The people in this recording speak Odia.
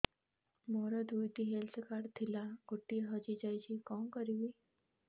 ମୋର ଦୁଇଟି ହେଲ୍ଥ କାର୍ଡ ଥିଲା ଗୋଟିଏ ହଜି ଯାଇଛି କଣ କରିବି